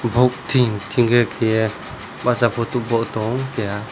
obb ting tinge kehe basa photo bo tango keha.